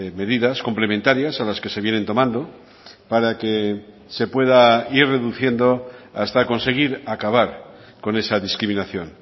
medidas complementarias a las que se vienen tomando para que se pueda ir reduciendo hasta conseguir acabar con esa discriminación